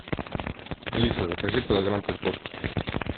алиса закажи килограмм картошки